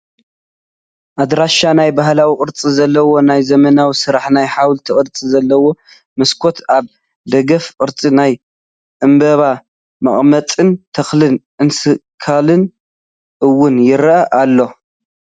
ኣዳራሽ ናይ ባህላዊ ቅርፂ ዘለዎ ናይ ዘመነዊ ስራሕ ናይ ሓወልቲ ቅርፂ ዘለዎ መስኮት ኣብ ደገኣፍ ቅርፂ ናይ ዕምበባ መቀመጥን ተክልን እስካላን እውን ይርአ ኣሎ።